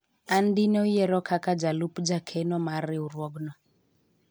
an dine oyiero kaka jalup jakeno maar riwruogno